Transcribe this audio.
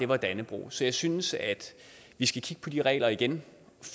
var dannebrog så jeg synes at vi skal kigge på de regler igen